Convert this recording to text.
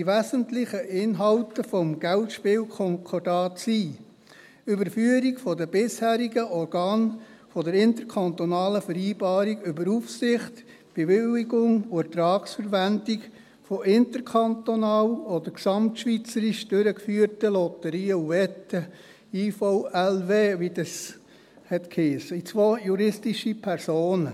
Die wesentlichen Inhalte des GSK sind: Überführung der bisherigen Organe der interkantonalen Vereinbarung über Aufsicht, Bewilligung und Ertragsverwendung von interkantonal oder gesamtschweizerisch durchgeführten Lotterien und Wetten (IVLW), wie dies heisst, in zwei juristische Personen: